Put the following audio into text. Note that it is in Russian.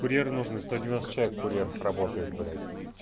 курьер нужно сто девяносто человек курьеров работает блять